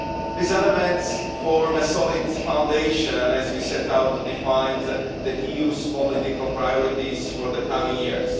These elements form a solid foundation as we set out to define the EU's political priorities for the coming years.